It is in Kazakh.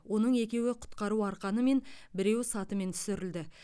оның екеуі құтқару арқанымен біреуі сатымен түсірілді